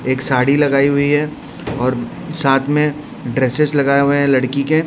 एक साड़ी लगाई हुई हैं और साथ में ड्रेसेस लगाए हुए लड़की के।